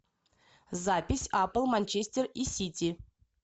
запись апл манчестер и сити